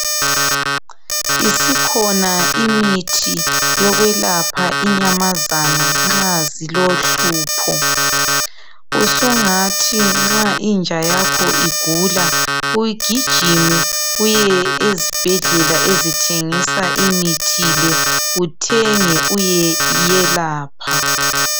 Isikhona imithi yokwelapha inyamazana nxa zilohlupho usungathi nxa inja yakho igula ugijime uye ezibhedlela ezithengisa imithi le uthenge uyeyelapha.